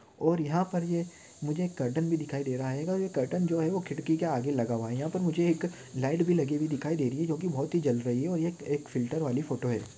और यहा पर ए मुझे एक कर्टन भी दिखाई दे रहा है और ये कर्टन जो है वो खिड़कीके आगे लगा हुआ है यहा पर मुझे एक लाइट भी लगी हुई दिखाई दे रही जोकि बहुत ही जल रही है और एक एक फ़िल्टर वाली फोटो है।